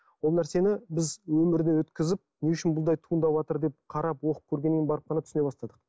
ол нәрсені біз өмірінен өткізіп не үшін бұндай туыватыр деп қарап оқып көргеннен кейін барып қана түсіне бастадық